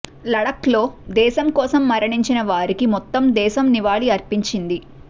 లడఖ్లో దేశం కోసం మరణించిన వారికి మొత్తం దేశం నివాళి అర్పించింది